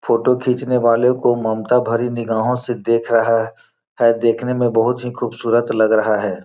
Photo खींचने वाले को ममता भरी निगाहों से देख रहा है है देखने में बहुत ही खूबसूरत लग रहा है।